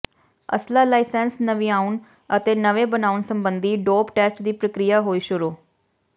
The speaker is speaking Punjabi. ਅਸਲ੍ਹਾ ਲਾਇਸੰਸ ਨਵਿਆਉਣ ਅਤੇ ਨਵੇਂ ਬਣਾਉਣ ਸਬੰਧੀ ਡੋਪ ਟੈਸਟ ਦੀ ਪ੍ਰਕਿਰਿਆ ਹੋਈ ਸ਼ੁਰੂ